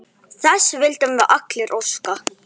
Þess vildum við allir óska.